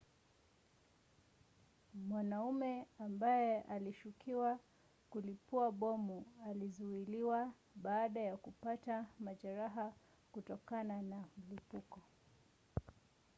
mwanamume ambaye alishukiwa kulipua bomu alizuiliwa baada ya kupata majeraha kutokana na mlipuko